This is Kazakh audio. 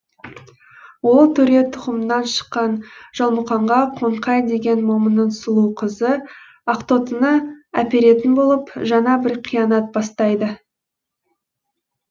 ол төре тұқымынан шыққан жалмұқанға қоңқай деген момынның сұлу қызы ақтоқтыны әперетін болып жаңа бір қиянат бастайды